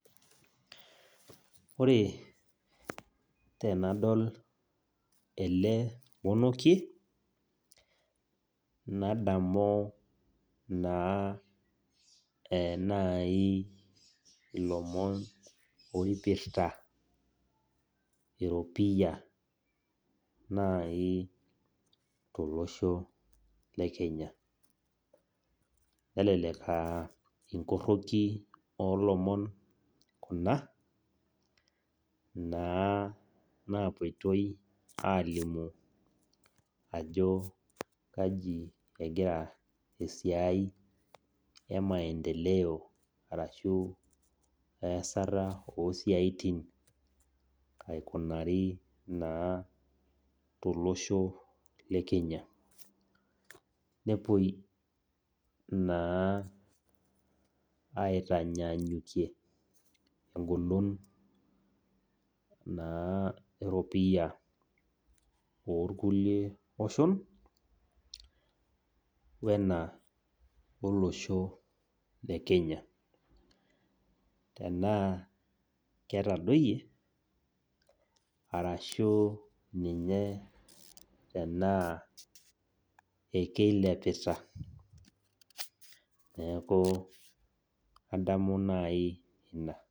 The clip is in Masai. Ore tenaadol ele monokie, nadamu naa enaaji ilomon oipirta eropia naaji tolosho le Kenya. Nelelek aa inkoroki oo lomon ina naa naapuoitai alimu ajo kji egira esiai e maendeleo ashu easta o isiaitin aikunaari naa tolosho le Kenya. Nepuoi naa aitanyanyukie eng'olon naa eropian toolkulie oshon wena olosho le Kenya, tanaa ketadoiye, arashu ninye ekeilepita, metaa kadamu naaji ina.